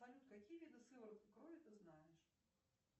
салют какие виды сывороток крови ты знаешь